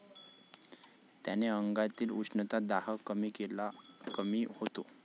त्याने अंगातील उष्णता, दाह कमी होतो.